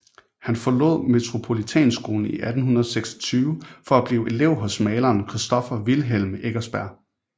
Han forlod Metropolitanskolen i 1826 for at blive elev hos maleren Christoffer Wilhelm Eckersberg